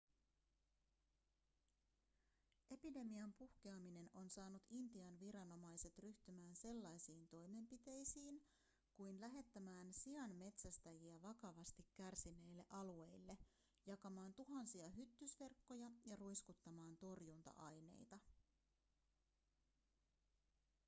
epidemian puhkeaminen on saanut intian viranomaiset ryhtymään sellaisiin toimenpiteisiin kuin lähettämään sianmetsästäjiä vakavasti kärsineille alueille jakamaan tuhansia hyttysverkkoja ja ruiskuttamaan torjunta-aineita